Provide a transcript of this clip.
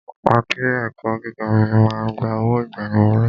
I ké ẹ̀kọ́ gíga mi ma ń gba owó ìgbaniwọlé.